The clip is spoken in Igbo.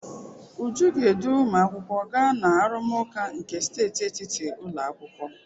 Uju ga-edu ụmụakwụkwọ gaa na arụmụka nke steeti etiti ụlọ akwụkwọ.